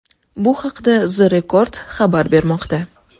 Bu haqda The Record xabar bermoqda .